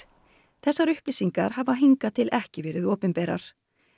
þessar upplýsingar hafa hingað til ekki verið opinberar